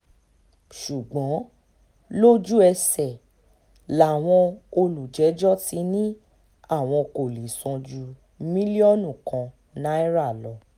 ṣùgbọ́n lójú-ẹsẹ̀ làwọn olùjẹ́jọ́ ti ní àwọn kò lè san ju mílíọ̀nù kan náírà lọ